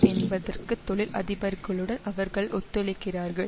என்பதற்கு தொழில் அதிபர்களுடன் அவர்கள் ஒத்துழைக்கிறார்கள்